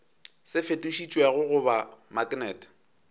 se fetošitšwego go ba maknete